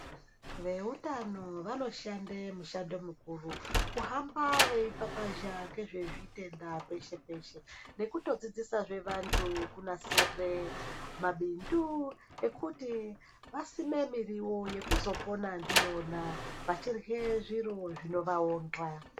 Vehutano vanoshanda mishando mikuru kuhamba veipapazha nezvezvitenda peshe peshe nekudzifzisa vantu kunasira mabindu ekuti vasime muriwo vachizopona ndiyona vachirya zviro zvinovaonhka.